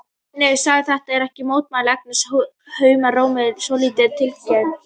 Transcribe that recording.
Nei, segðu þetta ekki, mótmælir Agnes háum rómi með svolítilli tilgerð.